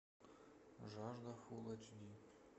жажда фул эйч ди